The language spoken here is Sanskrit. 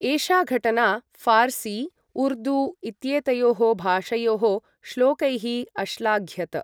एषा घटना फ़ार्सी, उर्दू इत्येतयोः भाषयोः श्लोकैः अश्लाघ्यत।